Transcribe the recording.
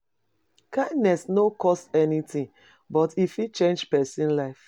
Kindness no cost anything, but e fit change person life.